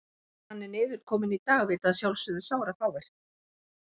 Hvar hann er niðurkominn í dag vita að sjálfsögðu sárafáir.